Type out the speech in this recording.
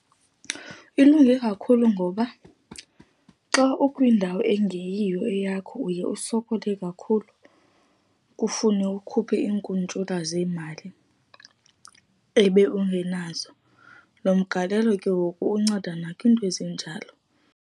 Ilunge kakhulu ngoba xa ukwindawo engeyiyo eyakho, uye usokole kakhulu, kufune ukhuphe iinkuntyula zeemali ebe ungenazo. Loo mgalelo ke ngoku unceda nakwinto ezinjalo.